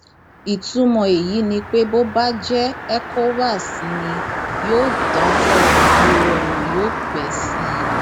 ìtumọ èyí ni pé bó bá jẹ ecowás ni yóò dájọ ìgboro ọnà yóò pẹ sí i